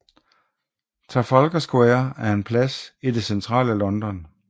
Trafalgar Square er en plads i det centrale London